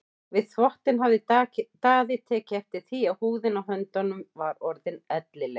Við þvottinn hafði Daði tekið eftir því að húðin á höndunum var orðin ellileg.